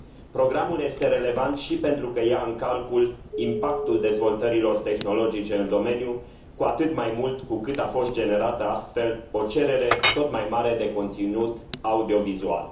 Programul este relevant și pentru că ia în calcul impactul dezvoltărilor tehnologice în domeniu, cu atât mai mult cu cât a fost generată, astfel, o cerere tot mai mare de conținut audiovizual.